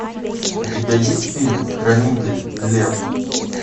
у тебя есть фильм хранитель лев